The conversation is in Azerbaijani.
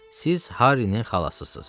Siz Harrinin xalasısınız.